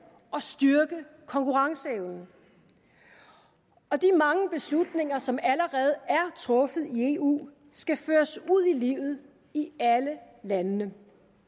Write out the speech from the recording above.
og styrke konkurrenceevnen og de mange beslutninger som allerede er truffet i eu skal føres ud i livet i alle landene